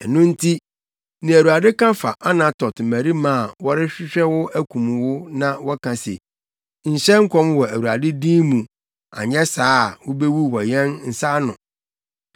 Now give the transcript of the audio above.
Ɛno nti nea Awurade ka fa Anatot mmarima a wɔrehwehwɛ wo akum wo na wɔka se, “Nhyɛ nkɔm wɔ Awurade din mu anyɛ saa a, wubewu wɔ yɛn nsa ano,”